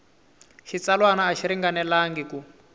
xitsalwana a xi ringanelangi ku